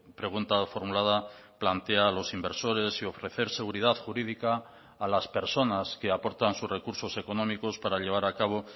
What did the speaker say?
pregunta formulada plantea a los inversores y ofrecer seguridad jurídica a las personas que aportan sus recursos económicos para llevar a cabo